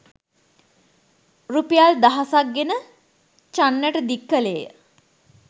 රුපියල් දහසක්‌ ගෙන චන්නට දික්‌ කළේය.